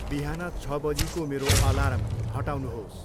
बिहान छ बजीको मेरो अलार्म हटाउनुहोस्।